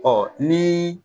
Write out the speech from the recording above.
Ɔ nii